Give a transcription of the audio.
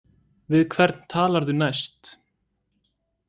Við hvern talarðu næst?